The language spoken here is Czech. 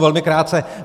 Velmi krátce.